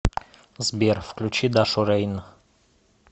сбер включи дашу рейн